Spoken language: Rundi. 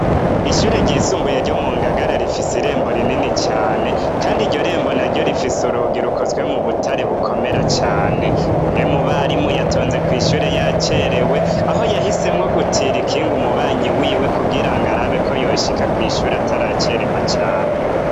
Kw'ishure ryisumbuye ryo mu Ngagara, rifise irembo rinini cane, Kandi iryo rembo naryo rikozwe mu butare bukomera cane. Umwe mu barimu yatonze kw'ishure yacerewe aho yahisemwo gutira ikinga umubanyi wiwe kugira ng'arabe ko yoshika kw'ishure ataracerewa cane.